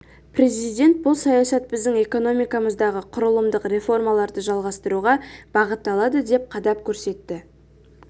президент бұл саясат біздің экономикамыздағы құрылымдық реформаларды жалғастыруға бағытталады деп қадап көрсетті